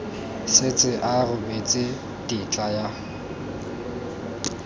setse a rebotse tetla ya